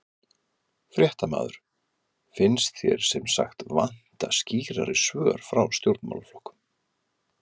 Fréttamaður: Finnst þér sem sagt vanta skýrari svör frá stjórnmálaflokkum?